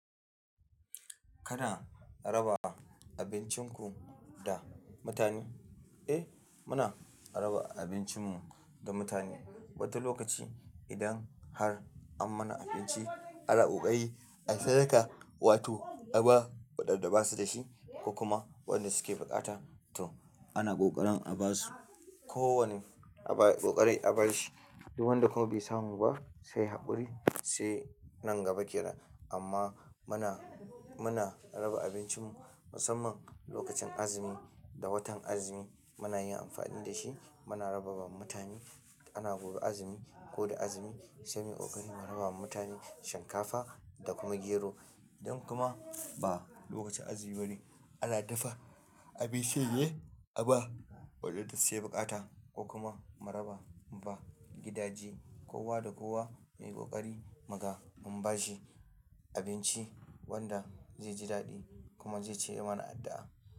Kana raba abincinku da mutane? Eh, muna raba abincinmu da mutane wata lokaci. Idan har an mana abinci, ana ƙoƙari a sadaka, wato aba waɗanda basu da shi ko kuma waɗanda suke bukata. To ana ƙoƙarin a ba su kowane abu ayi ƙoƙari a ba shi. Duk wanda kuna bai samu ba, sai ya haƙuri sai nan gaba kenan. Amma muna, muna raba abincinmu musamman lokacin azumi da watan azumi muna yin amfani da shi muna raba ma mutane. Ana gobe azumi ko da azumi sai muyi ƙoƙari mu raba wa mutane shinkafa da kuma gero. Idan kuma ba lokacin azumi bane, ana dafa abincin ne a ba waɗanda suke bukata ko kuma mu raba mu ba gidaje. Kowa da kowa yayi ƙoƙari muga mun ba shi abinci wanda zai ji daɗi, kuma zai ci ya mana addu'a.